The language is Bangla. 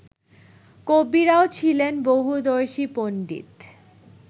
কবিরাও ছিলেন বহুদর্শী পন্ডিত